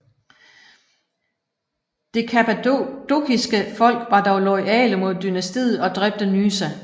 Det kappadokiske folk var dog loyale mod dynastiet og dræbte Nysa